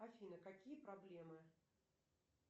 афина какие проблемы